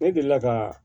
Ne delila ka